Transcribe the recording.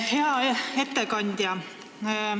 Hea ettekandja!